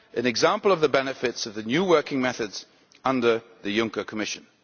an example of the benefits of the new working methods under the Juncker Commission.